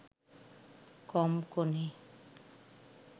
কম কোণে